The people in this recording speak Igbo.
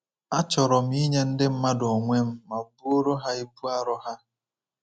Achọrọ m inye ndị mmadụ onwe m ma buoro ha ibu arọ ha.